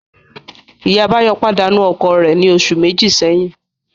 Ìyá Báyọ̀ pàdánù ọkọ rẹ̀ ní oṣù méjì sẹ́yìn